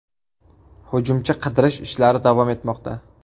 Hujumchi qidirish ishlari davom etmoqda.